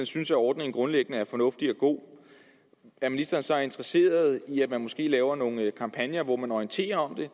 synes at ordningen grundlæggende er fornuftig og god er ministeren så interesseret i at man måske laver nogle kampagner hvor man orienterer